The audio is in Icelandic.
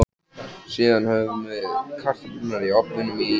Síðan höfum við kartöflurnar í ofninum í